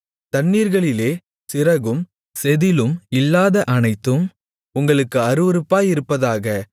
தண்ணீர்களிலே சிறகும் செதிளும் இல்லாத அனைத்தும் உங்களுக்கு அருவருப்பாயிருப்பதாக